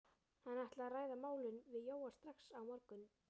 Hann ætlaði að ræða málin við Jóa strax á morgun.